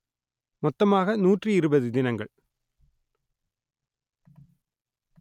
மொத்தமாக நூற்றி இருபது தினங்கள்